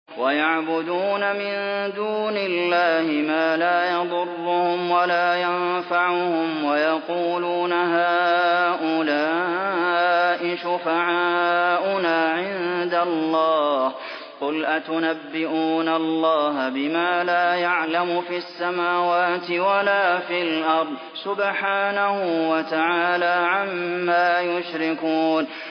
وَيَعْبُدُونَ مِن دُونِ اللَّهِ مَا لَا يَضُرُّهُمْ وَلَا يَنفَعُهُمْ وَيَقُولُونَ هَٰؤُلَاءِ شُفَعَاؤُنَا عِندَ اللَّهِ ۚ قُلْ أَتُنَبِّئُونَ اللَّهَ بِمَا لَا يَعْلَمُ فِي السَّمَاوَاتِ وَلَا فِي الْأَرْضِ ۚ سُبْحَانَهُ وَتَعَالَىٰ عَمَّا يُشْرِكُونَ